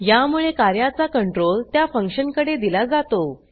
यामुळे कार्याचा कंट्रोल त्या फंक्शनकडे दिला जातो